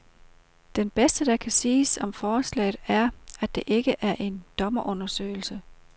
Det bedste, der kan siges om forslaget, er, at det ikke er en dommerundersøgelse.